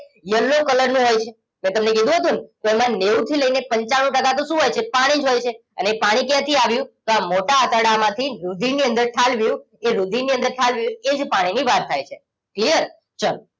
Yellow color નો હોય છે મેં તમને કીધુ હતું ને તો એમાં નેવું થી લઈને પંચાણું ટકા તો શું હોય છે પાણી જ હોય છે અને એ પાણી ક્યાંથી આવ્યું તો આ મોટા આંતરડામાંથી રુધિરની અંદર ઠાલવ્યું એ રુધિરની અંદર ઠાલવ્યું એ જ પાણીની વાત થાય છે clear ચલો